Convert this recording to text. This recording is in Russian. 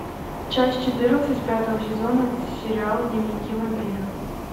часть четырнадцать пятого сезона сериал дневники вампира